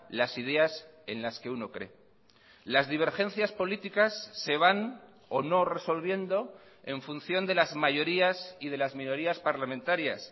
las ideas en las que uno cree las divergencias políticas se van o no resolviendo en función de las mayorías y de las minorías parlamentarias